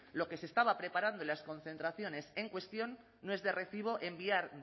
lo que se estaba preparando en las concentraciones en cuestión no es de recibo enviar